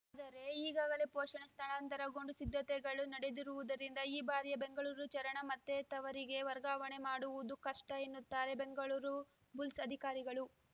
ದರೆ ಈಗಾಗಲೇ ಪುಣೆಗೆ ಸ್ಥಳಾಂತರಗೊಂಡು ಸಿದ್ಧತೆಗಳು ನಡೆದಿರುವುದರಿಂದ ಈ ಬಾರಿಯ ಬೆಂಗಳೂರು ಚರಣ ಮತ್ತೆ ತವರಿಗೆ ವರ್ಗಾವಣೆ ಮಾಡುವುದು ಕಷ್ಟಎನ್ನುತ್ತಾರೆ ಬೆಂಗಳೂರು ಬುಲ್ಸ್‌ ಅಧಿಕಾರಿಗಳು